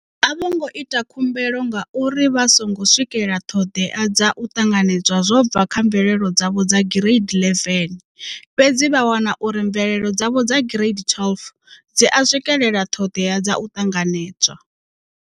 A vho ngo ita khumbelo ngauri vha songo swikela ṱhoḓea dza u ṱanganedzwa zwo bva kha mvelelo dzavho dza Gireidi 11, fhedzi vha wana uri mvelelo dzavho dza Gireidi 12 dzi a swikela ṱhoḓea dza u ṱanganedzwa.